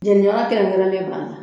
Jeniyɔrɔ kɛrɛnkɛrɛnnen b'a la